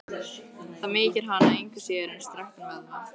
Það mýkir hana engu síður en strekktan vöðva.